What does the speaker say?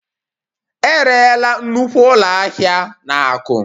E rerela nnukwu ụlọ ahịa a na Aku